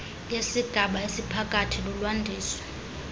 yesigaba esiphakathi lulwandiso